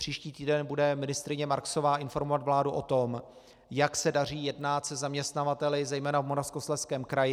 Příští týden bude ministryně Marksová informovat vládu o tom, jak se daří jednat se zaměstnavateli zejména v Moravskoslezském kraji.